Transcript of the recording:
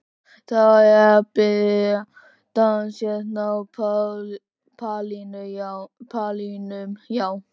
Það er að byrja dans hérna á pallinum, já.